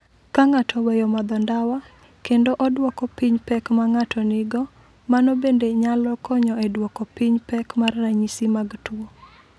"Ka ng’ato oweyo madho ndawa kendo odwoko piny pek ma ng’ato nigo, mano bende nyalo konyo e duoko piny pek mar ranyisi mag tuo."